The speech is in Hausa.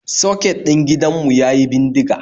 Soket din gidan mu yayi bindiga